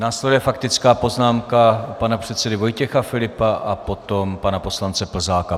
Následuje faktická poznámka pana předsedy Vojtěcha Filipa a potom pana poslance Plzáka.